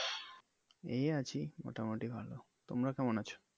এই আছি, মোটামুটি ভালো। তোমরা কেমন আছো?